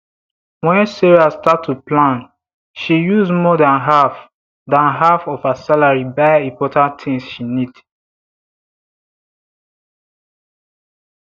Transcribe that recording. when sarah start to plan she use more than half than half of her salary buy important tins she need